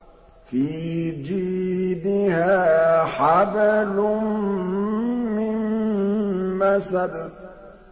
فِي جِيدِهَا حَبْلٌ مِّن مَّسَدٍ